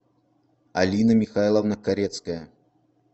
алина михайловна корецкая